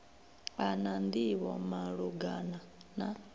a na nḓivho malugana na